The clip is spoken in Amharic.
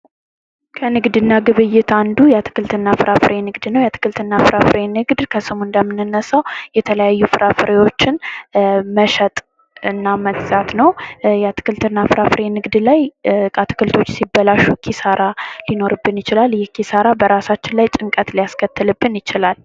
ከንግድና ግብይት አንዱ የአትክልትና ፍራፍሬ ንግድ ነው። የአትክልትና ፍራፍሬ ንግድ ከስሙ እንደምንነሳው የተለያዩ ፍራፍሬዎችን መሸጥ እና መግዛት ነው። እና የአትክልትና ፍራፍሬ የንግድ ላይ አትክልቶች ሲበላሹ ኪሳራ ሊኖርብን ይችላል። ይህ ኪሳራ በራሳችን ላይ ጭንቀት ሊያስከትልብን ይችላል።